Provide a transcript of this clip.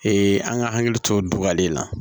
an ka hakili to o dɔgɔlen na